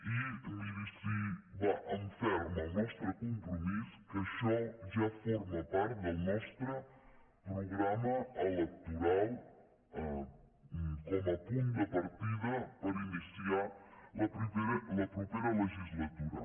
i miri si va en ferm el nostre compromís que això ja forma part del nostre programa electoral com a punt de partida per iniciar la propera legislatura